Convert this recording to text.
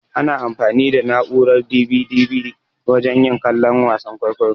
Ana anfani da na'urar "DVD" wajen yin kallon wasan kwaikwayo.